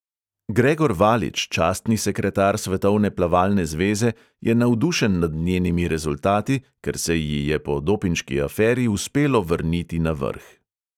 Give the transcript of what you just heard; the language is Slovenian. Gregor valič, častni sekretar svetovne plavalne zveze, je navdušen nad njenimi rezultati, ker se ji je po dopinški aferi uspelo vrniti na vrh.